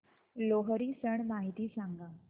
लोहरी सण माहिती सांगा